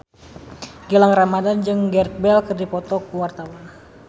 Gilang Ramadan jeung Gareth Bale keur dipoto ku wartawan